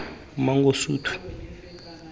mangosuthu